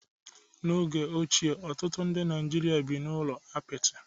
n'oge ochie ọtụtụ ndị Naijiria bi n'ụlọ apịtị